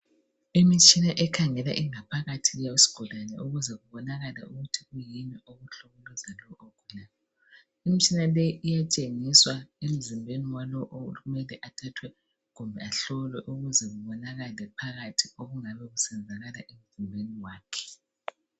Imitshina ekhangela ingaphakathi yesigulane ukuze kubonakale ukuthi kuyini okukhathaza lo ogulayo imitshina le iyatshengiswa emzimbeni walowo okumele athathe kumbe ahlolwe ukuze kubonakale phakathi okungabe kusenzakala emzimbeni wakhe.